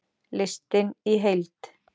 Listinn í heild